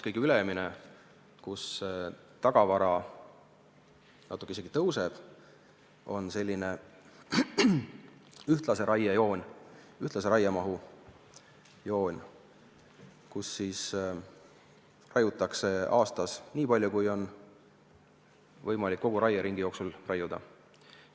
Kõige ülemine joon – selle puhul tagavara natuke isegi kasvab – on sellise ühtlase raie joon, ühtlase raiemahu joon, mille korral aastas raiutakse nii palju, kui on võimalik kogu raieringi jooksul raiuda.